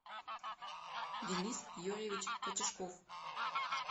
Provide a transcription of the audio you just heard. денис юрьевич котяшков